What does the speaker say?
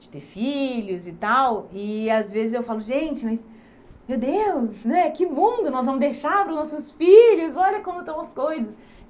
de ter filhos e tal, e às vezes eu falo, gente, mas meu Deus né, que mundo nós vamos deixar para os nossos filhos, olha como estão as coisas.